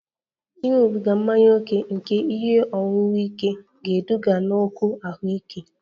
Ịṅụbiga mmanya ókè nke ihe ọṅụṅụ ike ga-eduga n'okwu ahụike